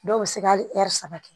Dɔw bɛ se ka hali ɛri saba kɛ